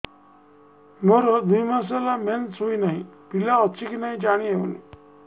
ମୋର ଦୁଇ ମାସ ହେଲା ମେନ୍ସେସ ହୋଇ ନାହିଁ ପିଲା ଅଛି କି ନାହିଁ ଜାଣି ହେଉନି